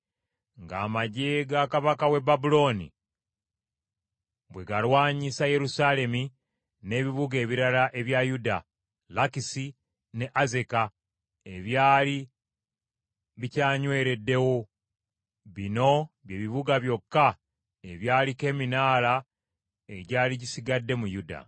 nga amaggye ga kabaka w’e Babulooni bwe galwanyisa Yerusaalemi n’ebibuga ebirala ebya Yuda, Lakisi ne Azeka, ebyali bikyanywereddewo. Bino bye bibuga byokka ebyaliko eminaala egyali gisigadde mu Yuda.